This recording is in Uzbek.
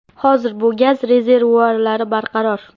Hozir bu gaz rezervuarlari barqaror.